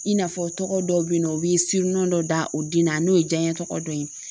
I n'a fɔ tɔgɔ dɔw be yen nɔ u bi dɔ da o din na n'o ye diɲɛ tɔgɔ dɔ ye